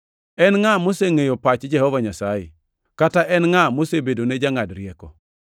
“En ngʼa mosengʼeyo pach Jehova Nyasaye? Kata en ngʼa mosebedone jangʼad rieko?” + 11:34 \+xt Isa 40:13\+xt*